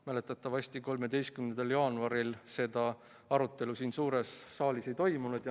Mäletatavasti 13. jaanuaril seda arutelu siin suures saalis ei toimunud.